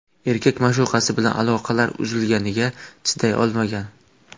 Erkak ma’shuqasi bilan aloqalar uzilganiga chiday olmagan.